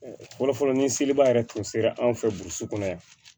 Fɔlɔfɔlɔ ni seliba yɛrɛ tun sera anw fɛ burusi kɔnɔ yan